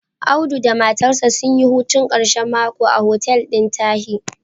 Audu da matarsa sun yi hutun ƙashen mako a hotel ɗin Tahi.